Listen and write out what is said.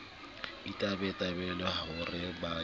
itebala ho re ba ya